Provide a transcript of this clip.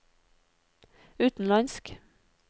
utenlandsk